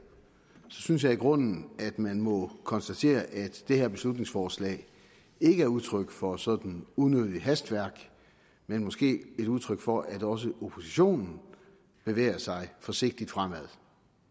synes jeg i grunden at man må konstatere at det her beslutningsforslag ikke er udtryk for sådan unødigt hastværk men måske et udtryk for at også oppositionen bevæger sig forsigtigt fremad